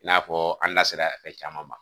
I n'a fɔɔ an da sera caman ma